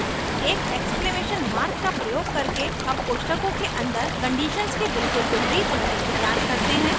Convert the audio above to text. एक exclamation mark का प्रयोग करके हम कोष्ठकों के अन्दर कंडीशंस के बिल्कुल विपरीत होने की जांच करते हैं